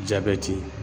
Jabɛti